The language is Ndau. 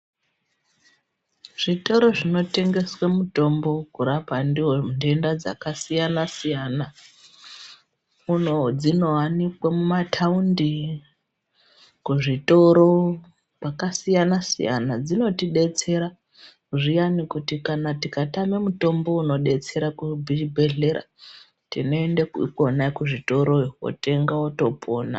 Zvitoro zvinotengeswe mutombo wekurapa ndiwo nthenda dzakasiyanasiyana uno dzinowanikwe mumathaundi, kuzvitoro kwakasiyanasiyana dzinotidetsera zviyani kuti tikatame muthombo unodetsera kubhibhedhlera tinoende khona kuzvitoroyo kootenga wotopona.